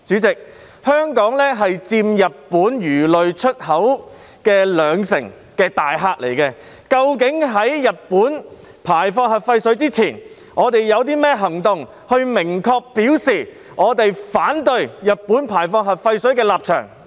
香港是佔日本魚類出口兩成的大客戶，究竟在日本排放核廢水前，我們有甚麼行動明確表示我們反對日本排放核廢水的立場？